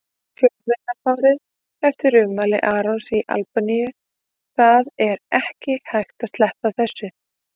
Fjölmiðlafárið eftir ummæli Arons í Albaníu Það er ekki hægt að sleppa þessu.